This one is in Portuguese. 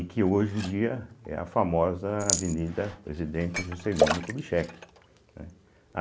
E que hoje em dia é a famosa Avenida Presidente Juscelino Kubitschek, né.